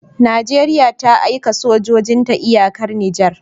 Nigeria ta aika sojojin ta iyakar niger